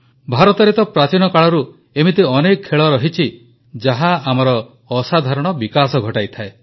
ଭାରତରେ ତ ପ୍ରାଚୀନ କାଳରୁ ଏମିତି ଅନେକ ଖେଳ ରହିଛି ଯାହା ଆମର ଅସାଧାରଣ ବିକାଶ ଘଟାଇଥାଏ